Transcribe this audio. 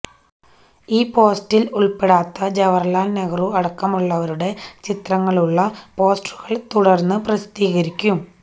ഈ പോസ്റ്ററില് ഉള്പ്പെടാത്ത ജവഹര്ലാല് നെഹ്റു അടക്കമുള്ളവരുടെ ചിത്രങ്ങളുള്ള പോസ്റ്ററുകള് തുടര്ന്ന് പ്രസിദ്ധീകരിക്കും